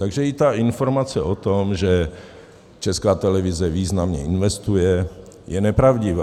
Takže i ta informace o tom, že Česká televize významně investuje, je nepravdivá.